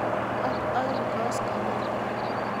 Ak aeng' koskoliny.